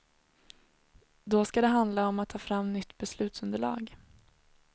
Då skall det handla om att ta fram nytt beslutsunderlag.